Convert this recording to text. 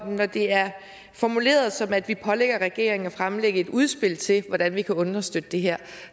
når det er formuleret sådan at vi pålægger regeringen at fremlægge et udspil til hvordan vi kan understøtte det her